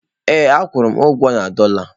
Ee a kwụrụ m ụgwọ na dọla.